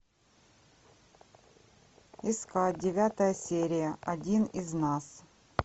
искать девятая серия один из нас